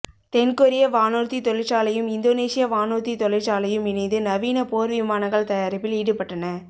தென்கொரிய வானூர்தி தொழிற்சாலையும் இந்தோனேசிய வானூர்தித் தொழிற்சாலையும் இணைந்து நவீன போர்விமானங்கள் தயாரிப்பில் ஈடுபட்டன